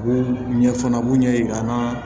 U b'u ɲɛ fana b'u ɲɛ yir'an na